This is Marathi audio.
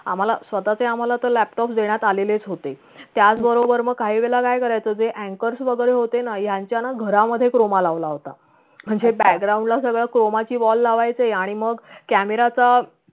आम्हाला स्वतःचे आम्हाला तर laptop देण्यात आलेलेच होते त्याचबरोबर मग काही वेळेला काय करायचा जे yankars वैगरे होते ना यांच्याना घरामध्ये croma लावला होता म्हणजे background ला सगळं croma ची wall लावायचे आणि मग camera असा